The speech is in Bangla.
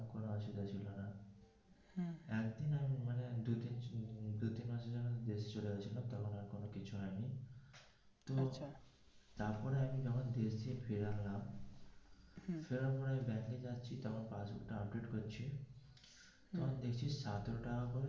বেশ চলছিল তারপরে কিছু হয়নি তো তারপরে আমি যখন দেখছি সেরম মনে হলে ব্যাংকে যাচ্ছি passbook টা update করছি তখন দেখছি সতেরো টাকা করে.